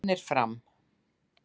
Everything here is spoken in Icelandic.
Fjölnir- Fram